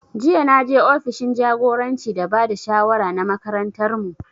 Jiya na je ofishin jagoranci da ba da shawara na makarantar mu